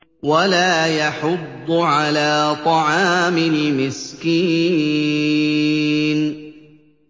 وَلَا يَحُضُّ عَلَىٰ طَعَامِ الْمِسْكِينِ